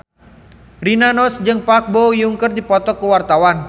Rina Nose jeung Park Bo Yung keur dipoto ku wartawan